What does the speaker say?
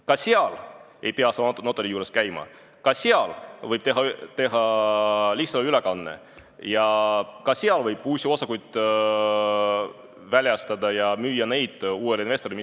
Ka seal ei pea sa notari juures käima, ka seal võib teha lihtsalt ülekande ja ka seal võib uusi osakuid väljastada ja müüa neid uuele investorile.